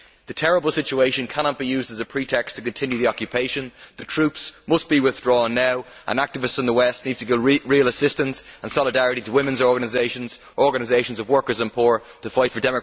This terrible situation cannot be used as a pretext to continue the occupation. The troops must be withdrawn now and activists in the West need to give real assistance and solidarity to women's organisations, organisations of workers and the poor, to fight for...